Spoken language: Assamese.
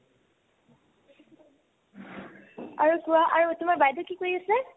আৰু কোৱা আৰু তোমাৰ বাইদেউয়ে কি কৰি আছে ?